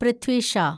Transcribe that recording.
Prithvi Shah